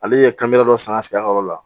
Ale ye dɔ san ka sigi a ka yɔrɔ la